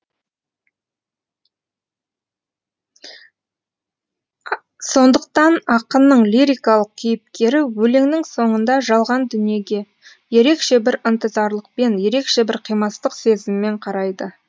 сондықтан ақынның лирикалық кейіпкері өлеңнің соңында жалған дүниеге ерекше бір ынтызарлықпен ерекше бір қимастық сезіммен қарайды